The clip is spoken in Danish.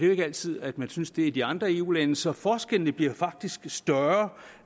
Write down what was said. jo ikke altid at man synes det i de andre eu lande så forskellene bliver faktisk større